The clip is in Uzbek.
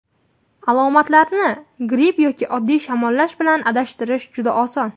Alomatlarni gripp yoki oddiy shamollash bilan adashtirish juda oson.